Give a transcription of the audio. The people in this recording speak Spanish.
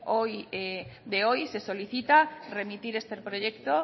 de hoy se solicita remitir este proyecto